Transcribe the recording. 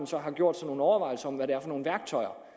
så har gjort sig nogle overvejelser om hvad det er for nogle værktøjer